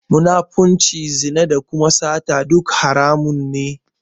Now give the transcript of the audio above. Munafirci, zina da kuma sata duk haramun ne.